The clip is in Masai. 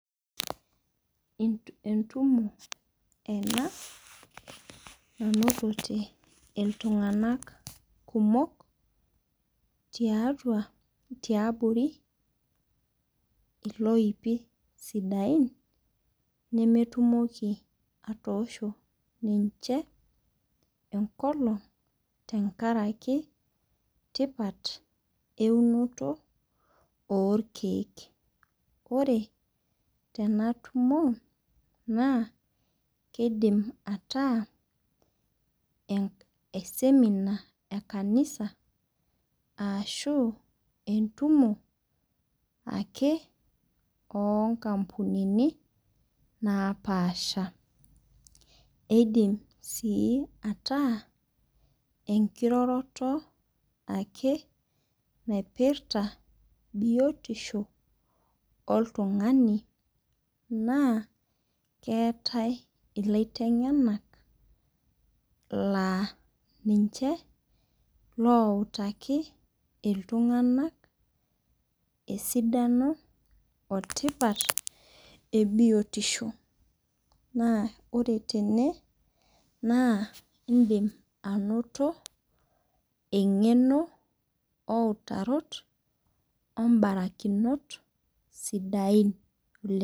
Entumo ena natote iltung'ana kumok tiatua tiabori iloipi sidain nemetoki atoosho ninche enkolong' tenkaraki tipat eunoti oo irkeek. Ore tena tumo naa kidim ataa siminar ee kanisa ashu entumo ake okampunini napasha. Eidim sii ataa enkiroroto ake naipirta biotisho oltung'ani naa keetae ilaiteng'ena laa ninche loutaki iltung'ana esidano etipat ebiotisho naa ore tene idim anoto eng'eno outarot obarakinot sidain oleng'.